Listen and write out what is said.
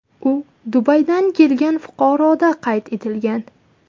U Dubaydan kelgan fuqaroda qayd etilgan.